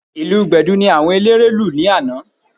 Ìlù Gbẹ̀du ni àwọn eléré lù lánàá